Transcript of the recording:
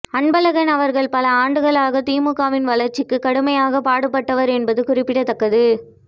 அன்பழகன் அவர்கள் பல ஆண்டுகளாக திமுகவின் வளர்ச்சிக்கு கடுமையாக பாடுபட்டவர் என்பது குறிப்பிடத்தக்கது